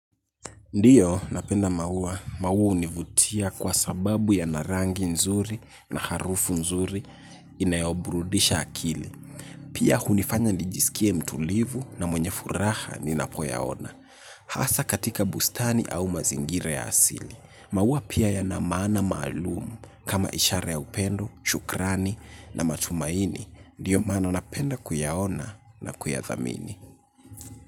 Ndiyo napenda maua, maua hunivutia kwa sababu yana rangi nzuri na harufu nzuri inayoburudisha akili. Pia hunifanya nijisikie mtulivu na mwenye furaha ninapoyaona. Hasa katika bustani au mazingira ya asili. Maua pia yana maana maalumu kama ishara ya upendo, shukrani na matumaini. Ndiyo maana napenda kuyaona na kuyathamini.